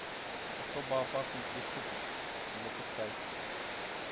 особо опасный преступник запускай